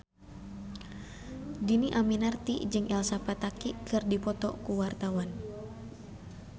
Dhini Aminarti jeung Elsa Pataky keur dipoto ku wartawan